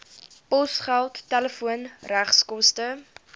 posgeld telefoon regskoste